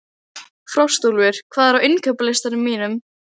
Frostúlfur, hvað er á innkaupalistanum mínum?